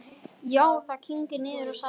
Já, það kyngir niður, sagði hann.